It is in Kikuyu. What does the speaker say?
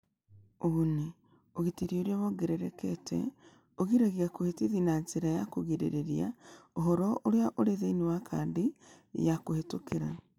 Ũguni: Ũgitĩri ũrĩa wongererekete, ũgiragia kũhĩtithia na njĩra ya kũgirĩrĩria ũhoro ũrĩa ũrĩ thĩinĩ wa kadi ya kũhĩtũkĩra